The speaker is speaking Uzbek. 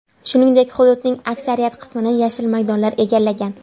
Shuningdek hududning aksariyat qismini yashil maydonlar egallagan.